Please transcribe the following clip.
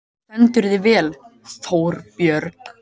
Þú stendur þig vel, Þórbjörg!